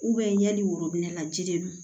yanni worobinɛ la ji de don